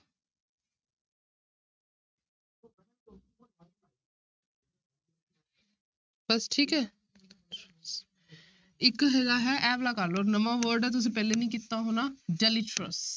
ਬਸ ਠੀਕ ਹੈ ਇੱਕ ਹੈਗਾ ਹੈ ਇਹ ਵਾਲਾ ਕਰ ਲਓ ਨਵਾਂ word ਹੈ ਤੁਸੀਂ ਪਹਿਲੇ ਨੀ ਕੀਤਾ ਹੋਣਾ deleterious